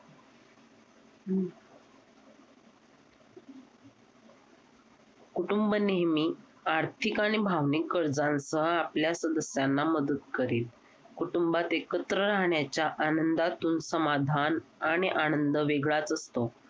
कुटुंब नेहमी आर्थिक आणि भावनिक गरजांचा आपल्या सदस्यांना मदत करील. कुटुंबात एकत्र राहण्याच्या आनंदातून समाधान आणि आनंद वेगळाच असतो.